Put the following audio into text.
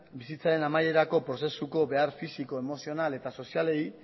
bizitzaren amaierako prozesuko behar fisiko emozional eta sozialei